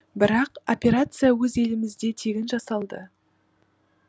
бірақ операция өз елімізде тегін жасалды